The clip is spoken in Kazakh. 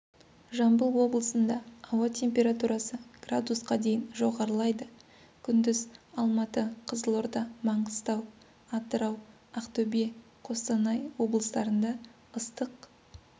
жамбыл облыснда ауа температурасы градусқа дейін жоғарылайды күндіз алматы қызылорда маңғыстау атырау ақтөбе қостанай облыстарында ыстық